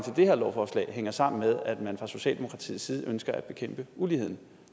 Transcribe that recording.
det her lovforslag hænger sammen med at man fra socialdemokratiets side ønsker at bekæmpe uligheden